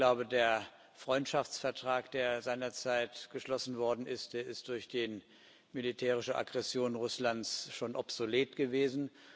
Ich glaube, der Freundschaftsvertrag, der seinerzeit geschlossen worden ist, der ist durch die militärische Aggression Russlands schon obsolet gewesen.